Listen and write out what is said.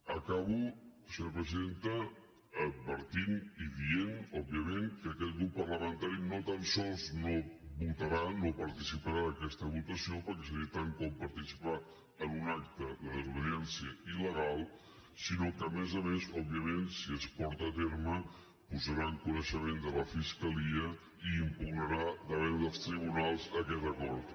acabo senyora presidenta advertint i dient òbviament que aquest grup parlamentari no tan sols no votarà no participarà d’aquesta votació perquè seria tant com participar en un acte de desobediència illegal sinó que a més a més òbviament si es porta a terme ho posarà en coneixement de la fiscalia i impugnarà davant dels tribunals aquest acord